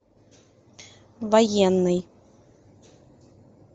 военный